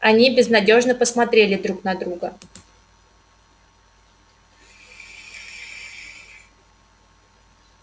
они безнадёжно посмотрели друг на друга